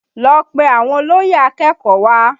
Lọ pe àwọn olóyè akẹ́kọ̀ọ́ wá!